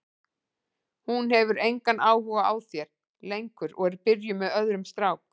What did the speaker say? Hún hefur engan áhuga á þér lengur og er byrjuð með öðrum strák.